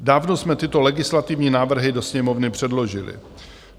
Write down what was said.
Dávno jsme tyto legislativní návrhy do Sněmovny předložili.